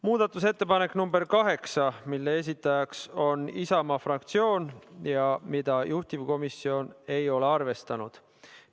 Muudatusettepanek nr 8, mille esitaja on Isamaa fraktsioon ja mida juhtivkomisjon ei ole arvestanud.